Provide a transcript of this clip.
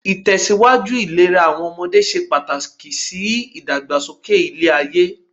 Ìtẹ̀síwájú ìlera àwọn ọmọdé se pàtàkì sí ìdàgbàsókè ilé-ayé.